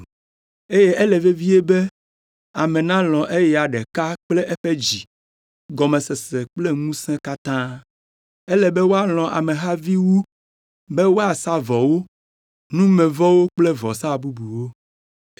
eye ele vevie be ame nalɔ̃ eya ɖeka kple eƒe dzi, gɔmesese kple ŋusẽ katã. Ele be woalɔ̃ amehavi wu be woasa vɔwo, numevɔwo kple vɔsa bubuwo.”